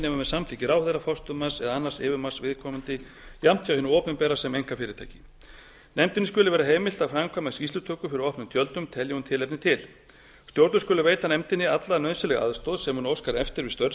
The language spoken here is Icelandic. með samþykki ráðherra forstöðumanns eða annars yfirmanns viðkomandi jafnt hjá hinu opinbera sem einkafyrirtæki nefndinni skuli vera heimilt að framkvæma skýrslutökur fyrir opnum tjöldum telji hún tilefni til stjórnvöld skuli veita nefndinni alla nauðsynlega aðstoð sem hún óskar eftir við störf